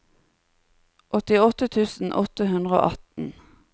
åttiåtte tusen åtte hundre og atten